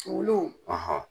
Olu;